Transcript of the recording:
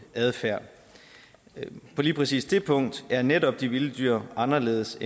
adfærd på lige præcis det punkt er netop de vilde dyr anderledes